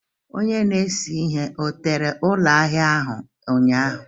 Onye na-ese ihe ọ tere ụlọ ahịa ahụ ụnyaahụ?